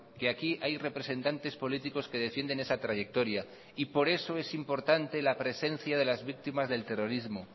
que aquí hay representantes políticos que defienden esa trayectoria y por eso es importante la presencia de las víctimas del terrorismo